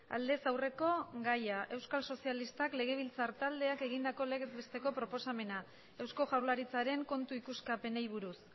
aldez aurreko gaia euskal sozialistak legebiltzar taldeak egindako legez besteko proposamena eusko jaurlaritzaren kontu ikuskapenei buruz